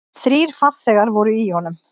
Þrír farþegar voru í honum.